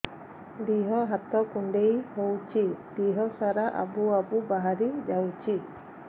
ଦିହ ହାତ କୁଣ୍ଡେଇ ହଉଛି ଦିହ ସାରା ଆବୁ ଆବୁ ବାହାରି ଯାଉଛି